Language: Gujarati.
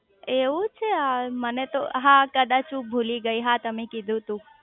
એવું છે મને તો હા કદાચ હું ભૂલી ગઈ હા તમે કીધું તું